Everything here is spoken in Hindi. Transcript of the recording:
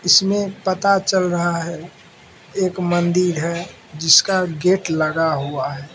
इसमें पता चल रहा है एक मंदिर है जिसका गेट लगा हुआ है।